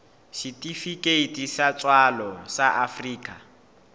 setifikeiti sa tswalo sa afrika